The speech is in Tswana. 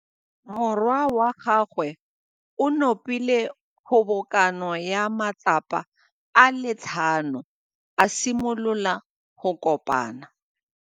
Morwa wa gagwe o nopile kgobokanô ya matlapa a le tlhano, a simolola go konopa.